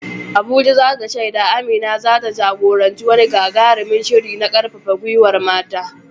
Abuja za ta shaida Amina za ta jagoranci wani gagarumin shiri na karfafa gwiwar mata.